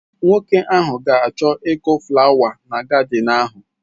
Nwoke ahụ ga achọ ịkụ fụlawa na gadịn ahụ.